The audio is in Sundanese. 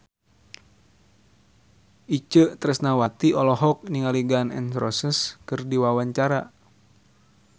Itje Tresnawati olohok ningali Gun N Roses keur diwawancara